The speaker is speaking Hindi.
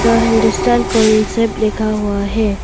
द हिंदुस्तान कॉन्सेप लिखा हुआ हैं।